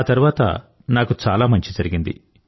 ఆ తర్వాత నాకు చాలా మంచి జరిగింది